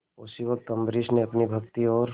उसी वक्त अम्बरीश ने अपनी भक्ति और